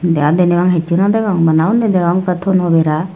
de aa deney bangey hissu no degong bana uni degong ekkan tono bera.